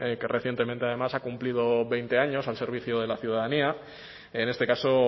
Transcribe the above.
que recientemente además ha cumplido veinte años al servicio de la ciudadanía en este caso